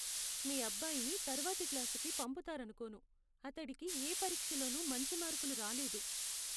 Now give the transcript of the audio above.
మీ అబ్బాయిని తర్వాతి క్లాసుకు పంపుతారనుకోను. అతడికి ఏ పరీక్షలోనూ మంచి మార్కులు రాలేదు.